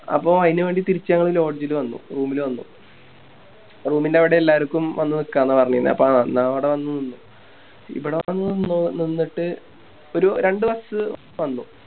അപ്പൊ അയിനു വേണ്ടി തിരിച്ച് Lodge ല് വന്നു Room ല് വന്നു Room ൻറെ അവിടെ എല്ലാർക്കും വന്ന് നിക്കന്ന പറഞ്ഞിന്നെ അപ്പൊ എന്ന അവിടെ വന്ന് നിന്ന് ഇബിടെ വന്ന് നിന്ന് നിന്നിട്ട് ഒരു രണ്ട് Bus വന്നു